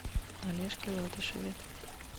олежке латышеве